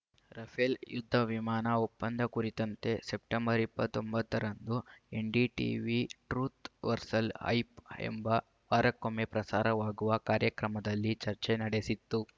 Rafale ಯುದ್ಧ ವಿಮಾನ ಒಪ್ಪಂದ ಕುರಿತಂತೆ ಸೆಪ್ಟೆಂಬರ್ ಇಪ್ಪತ್ತ್ ಒಂಬತ್ತ ರಂದು ಎನ್‌ಡಿಟೀವಿ ಟ್ರೂಥ್‌ ವರ್ಸಸ್‌ ಹೈಪ್‌ ಎಂಬ ವಾರಕ್ಕೊಮ್ಮೆ ಪ್ರಸಾರವಾಗುವ ಕಾರ್ಯಕ್ರಮದಲ್ಲಿ ಚರ್ಚೆ ನಡೆಸಿತ್ತು